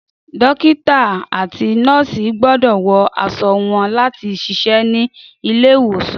Dókítà àti Nọ́ọ̀sì gbọ́dọ̀ wọ aṣọ wọn láti ṣiṣẹ́ ní ilé ìwòsàn